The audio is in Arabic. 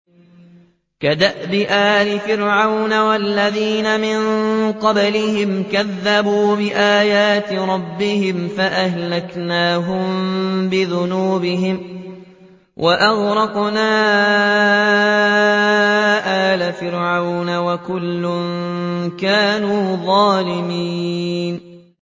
كَدَأْبِ آلِ فِرْعَوْنَ ۙ وَالَّذِينَ مِن قَبْلِهِمْ ۚ كَذَّبُوا بِآيَاتِ رَبِّهِمْ فَأَهْلَكْنَاهُم بِذُنُوبِهِمْ وَأَغْرَقْنَا آلَ فِرْعَوْنَ ۚ وَكُلٌّ كَانُوا ظَالِمِينَ